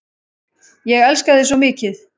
Ég elska þig svo mikið.